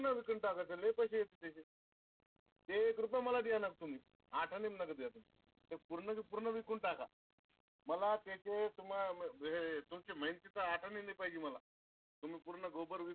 पूर्ण विकून टाकाय चे ते लई पैसे येते तेच्यात. ते एक रुपया मला देऊ नका तुम्ही. आठने ओं नका देऊ तुम्ही. ते पूर्ण च्या पूर्ण विकून टाका. मला त्याचे तुम्हा तुमच्या हेचे आठने नाय पाहिजे मला तुम्ही पूर्ण Gobar विकून